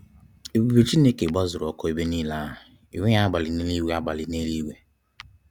Ebube Chineke gbazuru ọkụ ebe nile ahụ. Enweghị abalị n'eluigwe. abalị n'eluigwe.